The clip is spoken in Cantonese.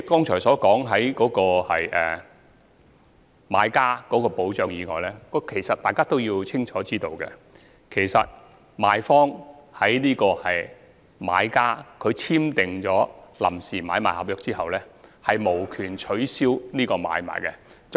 除了有關買家的保障外，相信大家都清楚知道，賣方無權在買家簽訂臨時買賣合約後取消這項買賣。